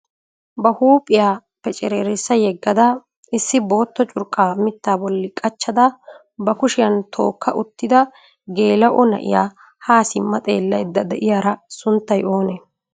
Ba huiphiya pecceererissa yedaagada bissi bootta curqqa mittaa bolli qaccada ba hashiyan tookka uttida gela"o na'iyaa ha simma xeelaydda de'iyaara sunttay oone?